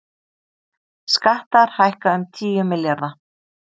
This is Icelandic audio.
Skattar hækka um tíu milljarða